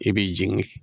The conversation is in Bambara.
E b'i jigi